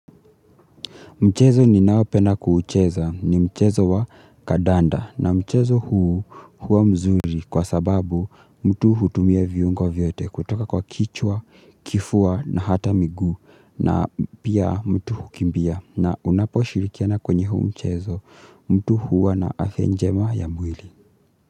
Mchezo ni naopenda kuucheza ni mchezo wa kadanda na mchezo huu huwa mzuri kwa sababu mtu hutumia viungo vyote kutoka kwa kichwa, kifua na hata miguu na pia mtu hukimbia na unapo shirikiana kwenye huu mchezo mtu huwa na afya njema ya mwili.